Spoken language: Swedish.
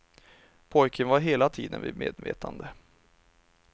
Pojken var hela tiden vid medvetande.